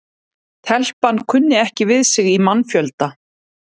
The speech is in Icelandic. Telpan kunni ekki við sig í mannfjölda.